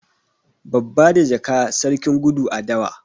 Babba da jaka, sarkin gudu a dawa.